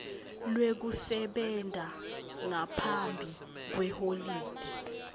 lwekusebenta ngaphambi kweholide